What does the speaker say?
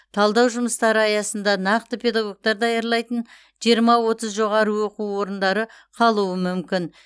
талдау жұмыстары аясында нақты педагогтар даярлайтын жиырма отыз жоғары оқу орындары қалуы мүмкін